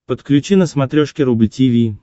подключи на смотрешке рубль ти ви